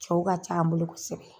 Cɛw ka ca an bolo kosɛbɛ.